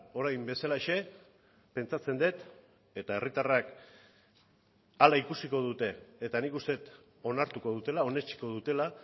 orain bezalaxe pentsatzen dut eta herritarrak hala ikusiko dute eta nik uste dut onartuko dutela onetsiko dutela